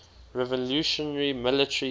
revolutionary military council